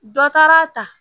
Dɔ taara ta